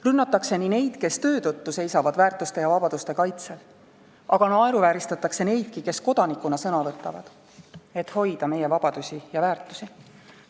Rünnatakse neid, kes töö tõttu seisavad väärtuste ja vabaduste kaitsel, aga naeruvääristatakse neidki, kes kodanikuna sõna võtavad, et hoida meie vabadusi ja väärtusi.